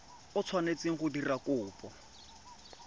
o tshwanetseng go dira kopo